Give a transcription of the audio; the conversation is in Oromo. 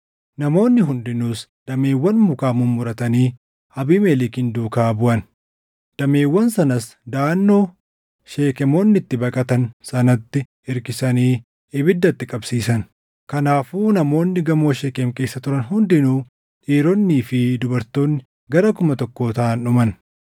Namoonni hundinuus dameewwan mukaa mummuratanii Abiimelekin duukaa buʼan. Dameewwan sanas daʼannoo Sheekemonni itti baqatan sanatti irkisanii ibidda itti qabsiisan. Kanaafuu namoonni gamoo Sheekem keessa turan hundinuu dhiironnii fi dubartoonni gara kuma tokko taʼan dhuman.